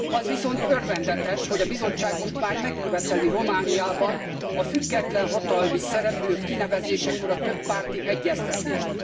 Az viszont örvendetes, hogy a Bizottság most már megköveteli Romániában a független hatalmi szereplők kinevezésekor a többpárti egyeztetést.